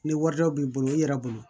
Ni wari dɔ b'i bolo i yɛrɛ bolo